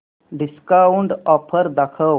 discount offer दाखव